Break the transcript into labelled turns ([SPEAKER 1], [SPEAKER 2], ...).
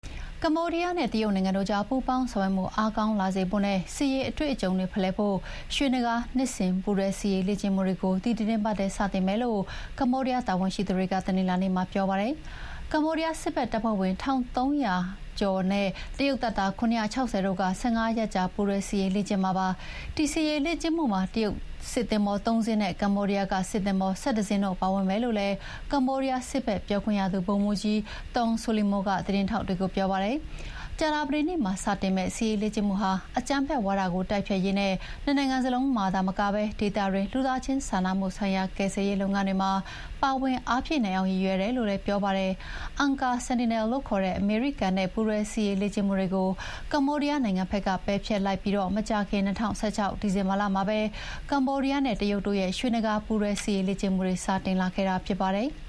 [SPEAKER 1] ကမ္ဘောဒီးယားနဲ့ တရုတ်နိုင်ငံတို့ကြား ပူးပေါင်းဆောင်ရွက်မှုအားကောင်းလာစေဖို့နဲ့ စစ်ရေးအတွေ့အကြုံတွေဖလှယ်ဖို့ ရွှေနဂါး နှစ်စဥ်ပူးတွဲစစ်ရေးလေ့ကျင့်မှုတွေ ဒီသီတင်းပတ်ထဲစတင်မယ်လို့ ကမ္ဘောဒီးယား တာဝန်ရှိသူတွေက တနင်္လာနေ့မှာပြောပါတယ်။ ကမ္ဘောဒီးယားစစ်ဖက်တပ်ဖွဲ့ဝင် ၁,၃၁၅ ဦးနဲ့ တရုတ်တပ်သား ၇၆၀ တို့ ၁၅ ရက်ကြာ ပူးတွဲစစ်ရေးလေ့ကျင့်မှာပါ။ ဒီစစ်ရေးလေ့ကျင့်မှုမှာ တရုတ်စစ်သင်္ဘော ၃ စင်းနဲ့ ကမ္ဘောဒီးယားက စစ်သင်္ဘော ၁၁ စင်းတို့ပါဝင်မယ်လို့လည်း ကမ္ဘောဒီးယားစစ်ဘက်ပြောခွင့်ရသူ ဗိုလ်မှူးကြီး Thong Solimo ကသတင်းထောက်တွေကိုပြောပါတယ်။ ကြာသပတေးနေ့မှာစတင်မယ့် စစ်ရေးလေ့ကျင့်မှုဟာ အကြမ်းဖက်ဝါဒတိုက်ဖျက်ရေးနဲ့ နှစ်နိုင်ငံစလုံးမှာသာမက ဒေသတွင်းက လူသားချင်းစာနာမှုဆိုင်ရာ ကယ်ဆယ်ရေးလုပ်ငန်းတွေမှာ ပါဝင်အားဖြည့်နိုင်အောင်ရည်ရွယ်တယ်လို့လည်း ပြောပါတယ်။ Angkor Sentinel လို့ခေါ်တဲ့အမေရိကန်နဲ့ ပူးတွဲစစ်ရေးလေ့ကျင့်မှုတွေကို ကမ္ဘောဒီးယားနိုင်ငံဘက်က ပယ်ဖျက်လိုက်ပြီးမကြာခင် ၂၀၁၆ ဒီဇင်ဘာလမှာ ကမ္ဘောဒီးယားနဲ့ တရုတ်တို့ရဲ့ ရွှေနဂါးပူးတွဲစစ်ရေးလေ့ကျင့်မှုတွေ စတင်ခ
[SPEAKER 2] ဲ့တာဖြစ်ပါတယ်။